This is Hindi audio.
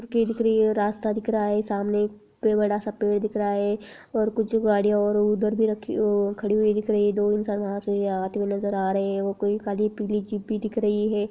की दिख रही है रास्ता दिख रहा है सामने पे बड़ा सा पेड़ दिख रहा है और कुछ गाड़ियां और उधर भी रखी औ खड़ी हुई दिख रही है दो इंसान वहाँ से आते हुए नज़र आ रहे हैं वो कोई काली पीली जीप भी दिख रही है।